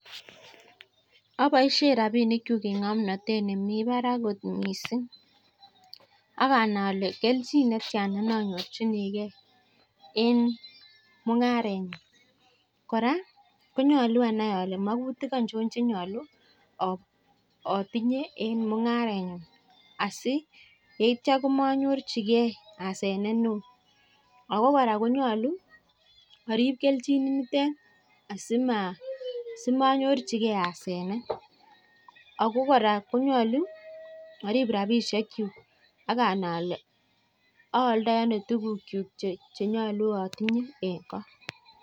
Aboishe rapishekchu eng ng'omnotet nemi barak kot mising. Ak anai ale keljin netia nanyorchinigei eng mung'arenyu. Kora konyolu anai ale magutik aichon chenyolu atinye eng mung'arenyu. asi yeitio komanyorchigei asenet neo. Ako kora konyolu arip keljinitet asi manyorchigei asenet. Ako kora arip rapishekchu ak anai ale aaldoi ano tukukchuk chenyolu atinye eng koo.